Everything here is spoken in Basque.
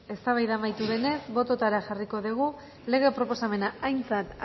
eztabaida amaitu denez bototara jarriko dugu lege proposamena aintzat